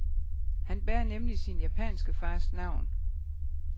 Han bærer nemlig sin japanske fars navn.